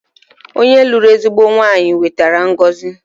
Onye lụrụ ezigbo nwaanyị wetara ngọzi